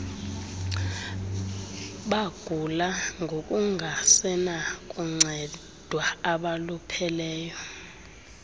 bagula ngokungasenakuncedwa abalupheleyo